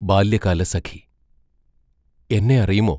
ബാല്യകാലസഖി എന്നെ അറിയുമോ?